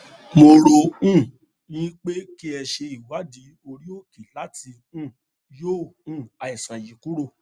mo rò um yín pé kí ẹ ṣe ìwádìí oríòkè láti um yọ um àìsàn yìí kúrò